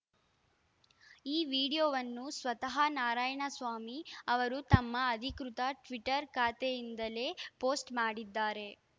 ಈ ವಿಡಿಯೋವನ್ನು ಸ್ವತಃ ನಾರಾಯಣಸ್ವಾಮಿ ಅವರು ತಮ್ಮ ಅಧಿಕೃತ ಟ್ವಿಟರ್‌ ಖಾತೆಯಿಂದಲೇ ಪೋಸ್ಟ್‌ ಮಾಡಿದ್ದಾರೆ